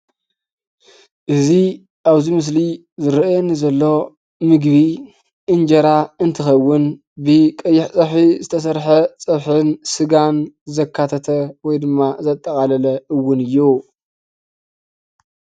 እዚ ኣብዚ ምስሊ ዝርአየኒ ዘሎ ምግቢ እንጀራ እንትኸውን ብቀይሕ ፀብሒ ዝተሰርሐ ፀብሕን ስጋን ዘካተተን ወይ ድማ ዘጠቓለለን እውን እዩ።